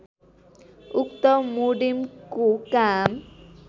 उक्त मोडेमको काम